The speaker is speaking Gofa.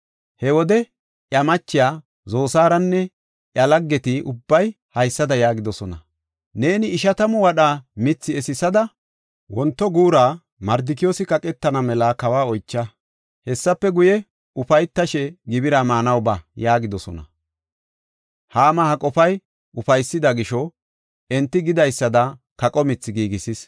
He wode iya machiya Zosaaranne iya laggeti ubbay haysada yaagidosona; “Neeni ishatamu wadha mithi esisada wonto guura Mardikiyoosi kaqetana mela kawa oycha. Hessafe guye, ufaytashe gibira maanaw ba” yaagidosona. Haama ha qofay ufaysida gisho, enti gidaysada kaqa mithi giigisis.